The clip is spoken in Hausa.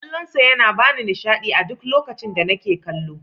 Kallon sa yana bani nishaɗi a duk lokacin da nake kallo.